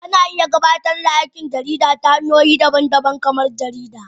Ana iya gabatar da aikin jarida ta hanyoyi daban-daban kamar jarida